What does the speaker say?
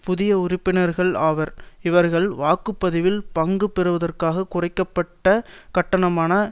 புதிய உறுப்பினர்கள் ஆவர் இவர்கள் வாக்கு பதிவில் பங்கு பெறுவதற்காக குறைக்க பட்ட கட்டணமான